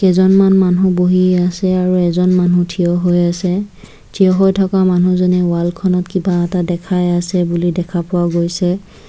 দুজনমান মানু্হ বহি আছে আৰু এজন মানুহ থিয় হৈ আছে‌ থিয় হৈ থকা মানুহজনে ৱালখনত কিবা এটা দেখাই আছে বুলি দেখা পোৱা গৈছে |